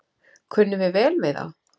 Kunnum við vel við þá?